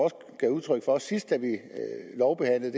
gav udtryk for sidst vi lovbehandlede